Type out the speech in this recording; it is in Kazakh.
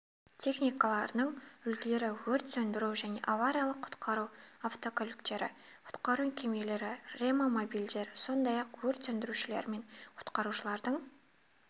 техникаларының үлгілері өрт сөндіру және авариялық-құтқару автокөліктері құтқару кемелері реамобильдер сондай-ақ өрт сөндірушілер мен құтқарушылардың